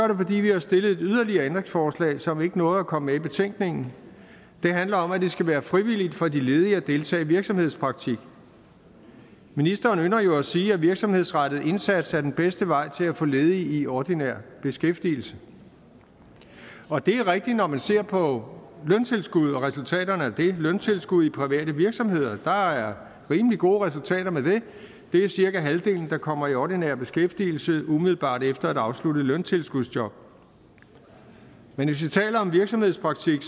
det fordi vi har stillet et yderligere ændringsforslag som ikke nåede at komme med i betænkningen det handler om at det skal være frivilligt for de ledige at deltage i virksomhedspraktik ministeren ynder jo sige at virksomhedsrettet indsats er den bedste vej til at få ledige i ordinær beskæftigelse og det er rigtigt når man ser på løntilskud og resultaterne af løntilskud i private virksomheder der er rimelig gode resultater med det det er cirka halvdelen der kommer i ordinær beskæftigelse umiddelbart efter et afsluttet løntilskudsjob men hvis vi taler om virksomhedspraktik